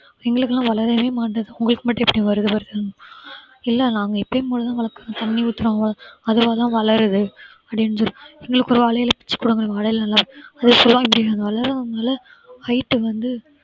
எங்களுக்கெல்லாம் வளரவே மாட்டுது உங்களுக்கு மட்டும் எப்படி வருது வருது இல்ல நாங்க எப்பயும் போல தான் வளர்க்கிறோம் தண்ணி ஊத்துறோம் அதுவா தான் வளருது அப்படின்னு சொல்லி எங்களுக்கு ஒரு வாழை இலை பிச்சு குடுங்க வாழை இலை நல்லா full ஆ இப்படி நாங்க வளர்க்கறதுனால height வந்து